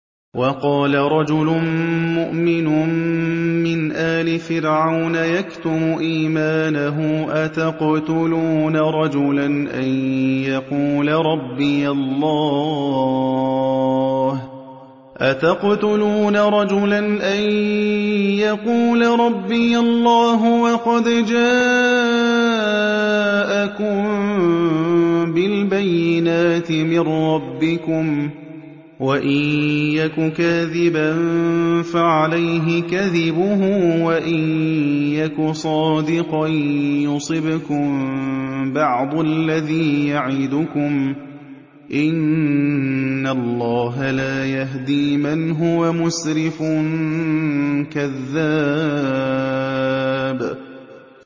وَقَالَ رَجُلٌ مُّؤْمِنٌ مِّنْ آلِ فِرْعَوْنَ يَكْتُمُ إِيمَانَهُ أَتَقْتُلُونَ رَجُلًا أَن يَقُولَ رَبِّيَ اللَّهُ وَقَدْ جَاءَكُم بِالْبَيِّنَاتِ مِن رَّبِّكُمْ ۖ وَإِن يَكُ كَاذِبًا فَعَلَيْهِ كَذِبُهُ ۖ وَإِن يَكُ صَادِقًا يُصِبْكُم بَعْضُ الَّذِي يَعِدُكُمْ ۖ إِنَّ اللَّهَ لَا يَهْدِي مَنْ هُوَ مُسْرِفٌ كَذَّابٌ